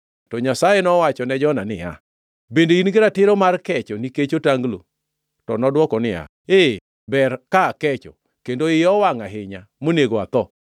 To Nyasaye nowachone Jona niya, “Bende in gi ratiro mar kecho nikech otanglo?” To nodwoko niya, “Ee, ber ka akecho, kendo iya owangʼ ahinya, monego atho.”